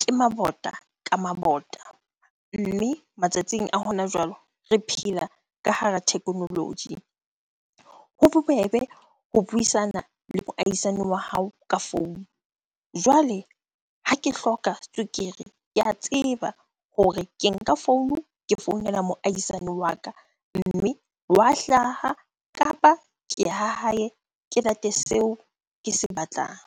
Ke mabota ka mabota, mme matsatsing a hona jwale re phela ka hara technology. Ho bobebe ho buisana le moahisani wa hao ka founu. Jwale ha ke hloka tswekere ke a tseba hore ke nka founu, ke founela moahisane wa ka. Mme wa hlaha kapa ke ya ha hae ke late seo ke se batlang.